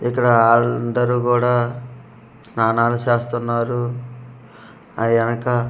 ఇక్కడ అందరూ కూడా స్నానాలు చేస్తున్నారు ఆ ఎనక.